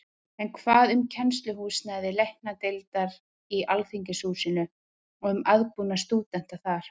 En hvað um kennsluhúsnæði Læknadeildar í Alþingishúsinu og um aðbúnað stúdenta þar?